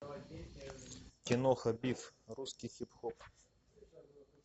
киноха биф русский хип хоп